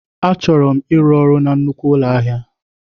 Achọrọ m ịrụ ọrụ na nnukwu ụlọ ahịa.